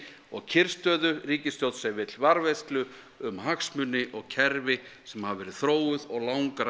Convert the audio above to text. og kyrrstöðu ríkisstjórn sem vill varðveislu um hagsmuni og kerfi sem hafa verið þróuð og